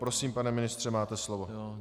Prosím, pane ministře, máte slovo.